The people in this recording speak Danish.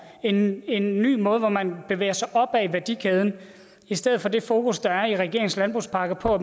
en en ny måde hvor man bevæger sig opad i værdikæden i stedet for det fokus der er i regeringens landbrugspakke på